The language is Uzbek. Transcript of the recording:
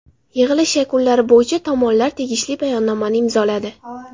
Yig‘ilish yakunlari bo‘yicha tomonlar tegishli bayonnomani imzoladi.